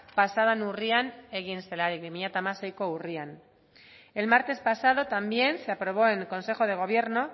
pasa den urrian egin zelarik bi mila hamaseiko urrian el martes pasado también se aprobó en el consejo de gobierno